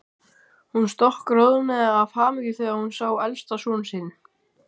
Hún stokkroðnaði af hamingju þegar hún sá elsta son sinn.